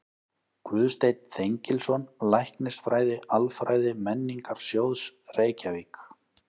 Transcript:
Guðsteinn Þengilsson, Læknisfræði-Alfræði Menningarsjóðs, Reykjavík